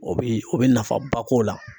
O bi o bi nafa ba k'o la.